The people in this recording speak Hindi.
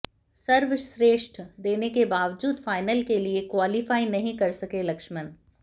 सर्वश्रेष्ठ देने के बावजूद फाइनल के लिए क्वालीफाई नहीं कर सके लक्ष्मणन